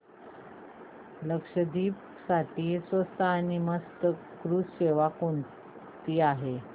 लक्षद्वीप साठी स्वस्त आणि मस्त क्रुझ सेवा कोणती आहे